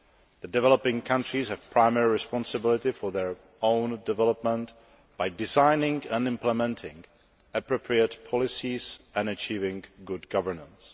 The developing countries have primary responsibility for their own development by designing and implementing appropriate policies and achieving good governance.